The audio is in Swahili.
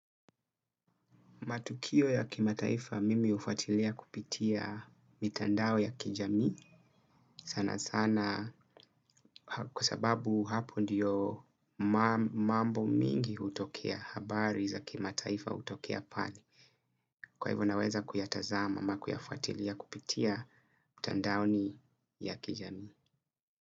Matukio ya kimataifa mimi hufatilia kupitia mitandao ya kijami sana sana kwa sababu hapo ndiyo mambo mingi hutokea habari za kimataifa hutokea pale. Kwa hivyo naweza kuyatazama ama kuyafatilia kupitia mitandaoni ya kijami.